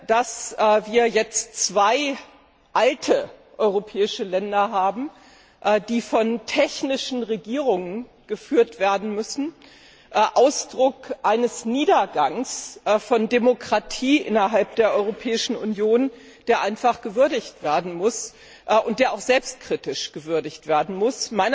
Dass wir jetzt zwei alte europäische Länder haben, die von technischen Regierungen geführt werden müssen, ist Ausdruck eines Niedergangs der Demokratie innerhalb der Europäischen Union, der einfach gewürdigt werden muss und auch selbstkritisch gewürdigt werden muss.